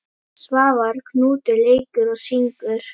Svavar Knútur leikur og syngur.